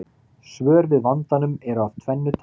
Svör við vandanum eru af tvennu tagi.